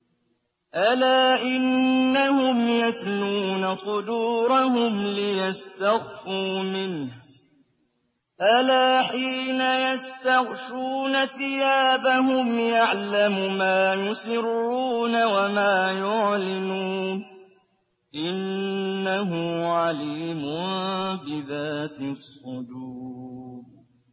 أَلَا إِنَّهُمْ يَثْنُونَ صُدُورَهُمْ لِيَسْتَخْفُوا مِنْهُ ۚ أَلَا حِينَ يَسْتَغْشُونَ ثِيَابَهُمْ يَعْلَمُ مَا يُسِرُّونَ وَمَا يُعْلِنُونَ ۚ إِنَّهُ عَلِيمٌ بِذَاتِ الصُّدُورِ